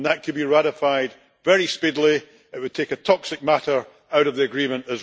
That could be ratified very speedily and it would also take a toxic matter out of the agreement.